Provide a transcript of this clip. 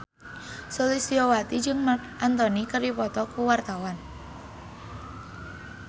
Sulistyowati jeung Marc Anthony keur dipoto ku wartawan